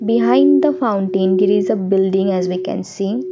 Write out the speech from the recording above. behind the fountain there is a building as we can see.